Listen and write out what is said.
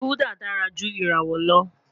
Gulder dara ju irawọ lọ